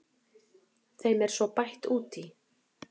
Þeim er svo bætt út í.